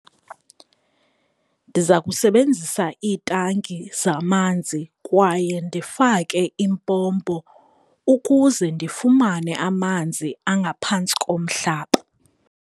Ndiza kusebenzisa iitanki zamanzi kwaye ndifake impompo ukuze ndifumane amanzi angaphantsi komhlaba.